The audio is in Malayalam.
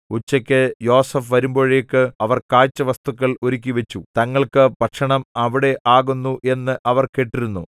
ഉച്ചയ്ക്കു യോസേഫ് വരുമ്പോഴേക്ക് അവർ കാഴ്ച വസ്തുക്കൾ ഒരുക്കിവച്ചു തങ്ങൾക്കു ഭക്ഷണം അവിടെ ആകുന്നു എന്ന് അവർ കേട്ടിരുന്നു